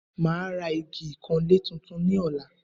Màá ra igi ìkanlé tuntun ní ọ̀la